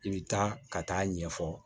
I bɛ taa ka taa ɲɛfɔ